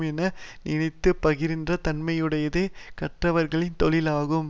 என நினைத்து பிரிகின்ற தன்மையுடையதே கற்றவர்களின் தொழிலாகும்